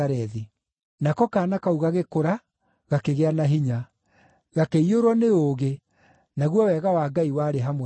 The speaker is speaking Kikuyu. Nako kaana kau gagĩkũra, gakĩgĩa na hinya; gakĩiyũrwo nĩ ũũgĩ, naguo wega wa Ngai warĩ hamwe nako.